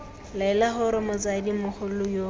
laela gore motsadi mogolo yo